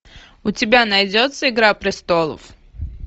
у тебя найдется игра престолов